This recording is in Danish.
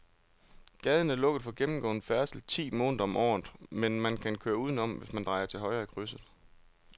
Gaden er lukket for gennemgående færdsel ti måneder om året, men man kan køre udenom, hvis man drejer til højre i krydset.